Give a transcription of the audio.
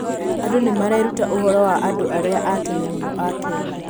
Andũ nĩ mareruta ũhoro wa andũ arĩa a tene mũno a Kenya.